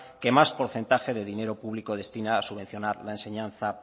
que más porcentaje de dinero público destina a subvencionar la enseñanza